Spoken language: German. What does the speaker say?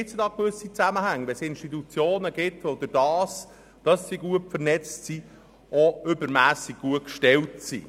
Es ist aber etwas störend, wenn Institutionen aufgrund ihrer guten Vernetzung übermässig gut gestellt sind.